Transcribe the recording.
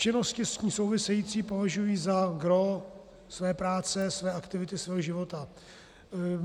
Činnosti s tím související považují za gros své práce, své aktivity, svého života.